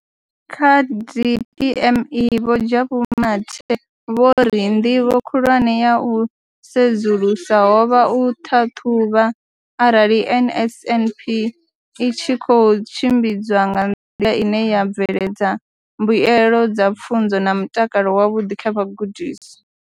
Kha DPME, Vho Jabu Mathe, vho ri nḓivho khulwane ya u sedzulusa ho vha u ṱhaṱhuvha arali NSNP i tshi khou tshimbidzwa nga nḓila ine ya bveledza mbuelo dza pfunzo na mutakalo wavhuḓi kha vhagudiswa.